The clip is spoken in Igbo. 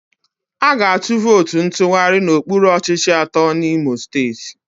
A ga-atụ vootu ntụgharị n'okpuru ọchịchị atọ n'Imo Steeti.